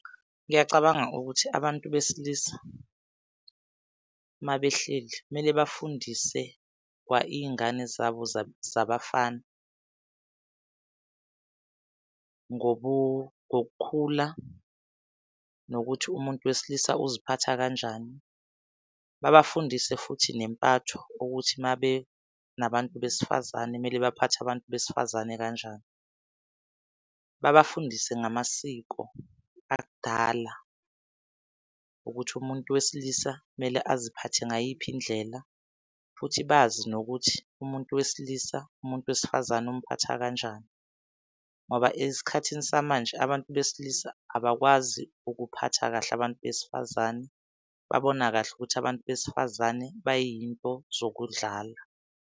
Ngiyacabanga ukuthi abantu besilisa mabehleli kumele bafundise iy'ngane zabo zabafana ngokukhula nokuthi umuntu wesilisa uziphetha kanjani. Babafundise futhi nempatho ukuthi mabe nabantu besifazane kumele baphathe abantu besifazane kanjani. Babafundise ngamasiko akudala ukuthi umuntu wesilisa kumele aziphathe ngayiphi indlela futhi bazi nokuthi umuntu wesilisa umuntu wesifazane umphatha kanjani. Ngoba esikhathini samanje abantu besilisa abakwazi ukuphatha kahle abantu besifazane, babona kahle ukuthi abantu besifazane bay'nto zokudlala.